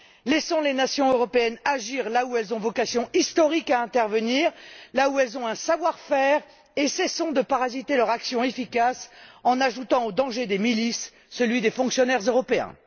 Laissons les nations européennes agir là où elles ont vocation historique à intervenir, là où elles ont un savoir faire, et cessons de parasiter leur action efficace en ajoutant aux dangers des milices celui des fonctionnaires européens.